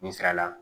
N sira la